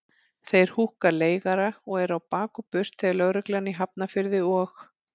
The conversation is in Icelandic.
Þeir húkka leigara og eru á bak og burt þegar lögreglan í Hafnarfirði og